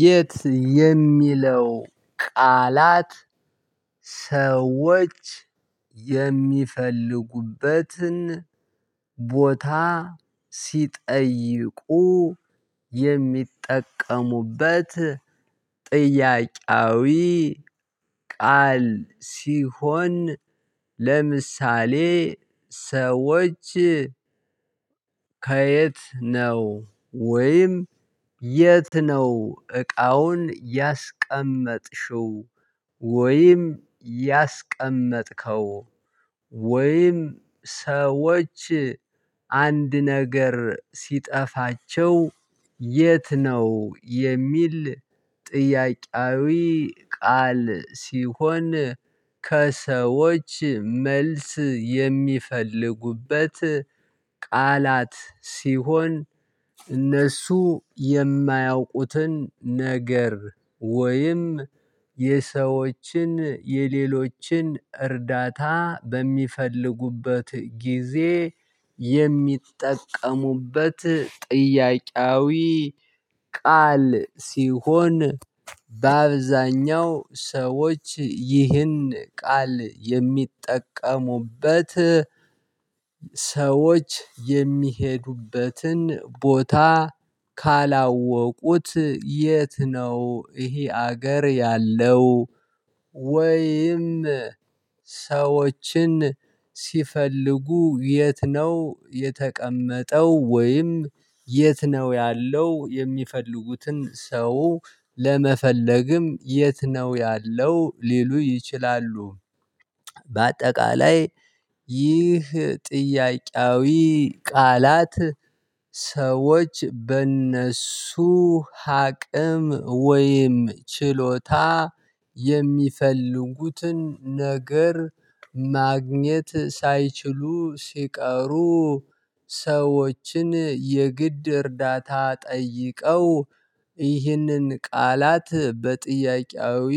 የት የሚለው ቃላት ሰዎች የሚፈልጉበትን ቦታ ሲጠይቁ የሚጠቀሙበት ጥያቄያዊ ቃል ሲሆን፤ ለምሳሌ ሰዎች ከየት ነው ወይም የት ነው እቃውን ያስቀመጥሽው ወይም ያስቀመጥከው ወይም ሰዎች አንድ ነገር ሲጠፋቸው የት ነው የሚል ጥያቄያዊ ቃል ሲሆን ከሰዎች መልስ የሚፈልጉበት ቃላት ሲሆን እነሱ የማያውቁትን ነገር ወይም የሰዎችን የሌሎችን እርዳታ በሚፈልጉበት ጊዜ የሚጠቀሙበት ጥያቄያዊ ቃል ሲሆን በአብዛኛው ሰዎች ይህን ቃል የሚጠቀሙበት ሰዎች የሚሄዱበትን ቦታ ካላወቁት የት ነው ይሄ ሀገር ያለው ወይም ሰዎችን ሲፈልጉ የት ነው የተቀመጠው? ወይም የት ነው ያለው? የሚፈልጉትን ሰው ለመፈለግም የት ነው ያለው ሊሉ ይችላሉ። በአጠቃላይ ይህ ጥያቄያዊ ቃላት ሰዎች በእነሱ ሀቅም ወይም ችሎታ የሚፈልጉትን ነገር ማግኘት ሳይችሉ ሲቀሩ ሰዎችን የግድ እርዳታ ጠይቀው ይህንን ቃላት በጥያቄያዊ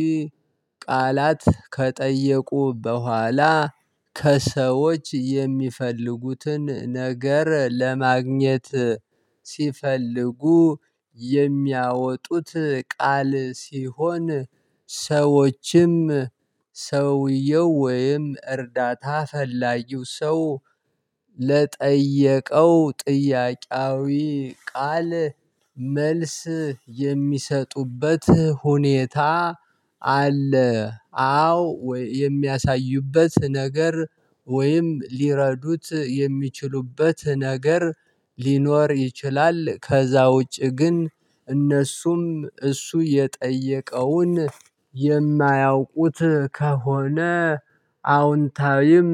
ቃላት ከጠየቁ በኋላ፤ ከሰዎች የሚፈልጉትን ነገር ለማግኘት ሲፈልጉ የሚያወጡት ቃል ሲሆን፤ ሰዎችም ሰውየው ወይም እርዳታ ፈላጊው ሰው ለጠየቀው ጥያቄያዊ ቃል መልስ የሚሰጡበት ሁኔታ አለ። አዎ የሚያሳዩበት ነገር ወይም ሊረዱት የሚችሉበት ነገር ሊኖር ይችላል። ከዛ ውጪ ግን እነሱም እሱ የጠየቀውን የማያውቁት ከሆነ አዎንታዊም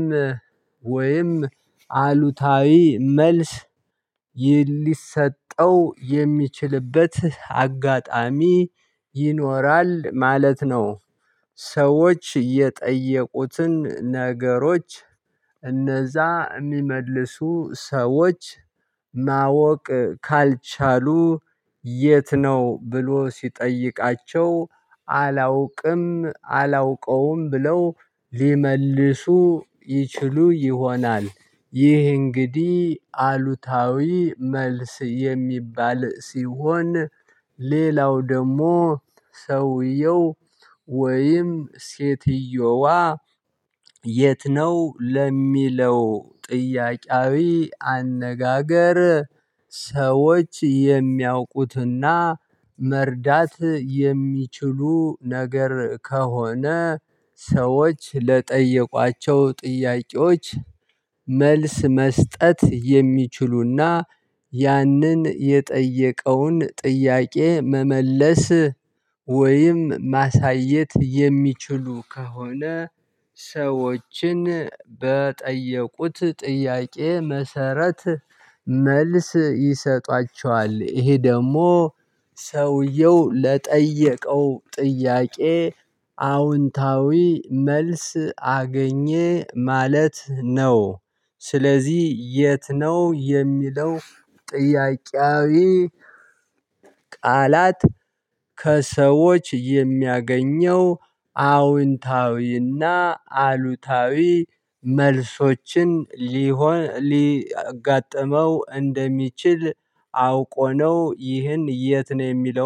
ወይም አሉታዊ መልስ ይህን ሊሰጠው የሚችልበት አጋጣሚ ይኖራል ማለት ነው። ሰዎች የጠየቁትን ነገሮች እነዛ የሚመልሱ ሰዎች ማወቅ ካልቻሉ የት ነው ብሎ ሲጠይቃቸው አላውቅም አላውቀውም ብለው ሊመልሱ ይችሉ ይሆናል ይህ እንግዲህ አሉታዊ መልስ የሚባል ሲሆን ሌላው ደግሞ ሰውየው ወይም ሴትየዋ የት ነው ለሚለው ጥያቄያዊ አነጋገር ሰዎች የሚያውቁትና መርዳት የሚችሉ ነገር ከሆነ፤ ሰዎች ለጠየቋቸው ጥያቄዎች መልስ መስጠት የሚችሉና፤ ያንን የጠየቀውን ጥያቄ መመለስ ወይም ማሳየት የሚችሉ ከሆነ፤ ሰዎችን በጠየቁት ጥያቄ መሰረት መልስ ይሰጧቸዋል። ይሄ ደግሞ ሰውየው ለጠየቀው ጥያቄ አዎንታዊ መልስ አገኘ ማለት ነው። ስለዚህ የት ነው የሚለው ጥያቄያዊ ቃላት ከሰዎች የሚያገኘው አዎንታዊና አሉታዊ መልሶችን ሊሆን ሊያጋጥመው እንደሚችል አውቆ ነው ይህን የት ነው የሚለው